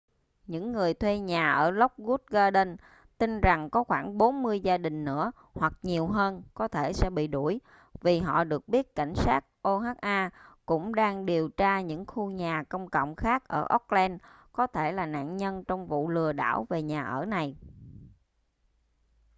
những người thuê nhà ở lockwood gardens tin rằng có khoảng 40 gia đình nữa hoặc nhiều hơn có thể sẽ bị đuổi vì họ được biết cảnh sát oha cũng đang điều tra những khu nhà công cộng khác ở oakland có thể là nạn nhân trong vụ lừa đảo về nhà ở này